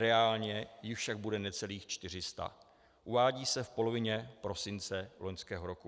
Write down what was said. Reálně jich však bude necelých 400, uvádí se v polovině prosince loňského roku.